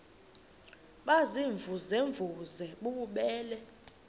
baziimvuze mvuze bububele